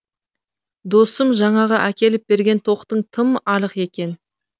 досым жаңағы әкеліп берген тоқтың тым арық екен